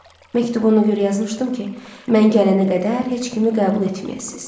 Məktubu ona görə yazmışdım ki, mən gələnə qədər heç kimi qəbul etməyəsiz.